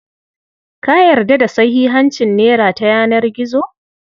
Ka yarda da sahihancin nera ta yanar gizo?